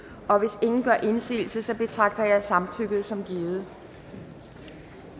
og hvis ingen gør indsigelse betragter jeg samtykket som givet